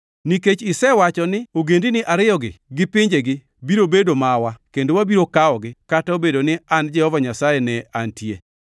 “ ‘Nikech isewacho ni, Ogendini ariyogi gi pinjegi biro bedo mawa kendo wabiro kawogi, kata obedo ni an Jehova Nyasaye ne antie,